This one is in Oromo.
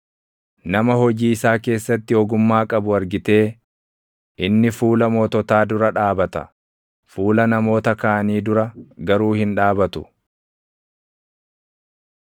Nama hojii isaa keessatti ogummaa qabu argitee? Inni fuula moototaa dura dhaabata; fuula namoota kaanii dura garuu hin dhaabatu.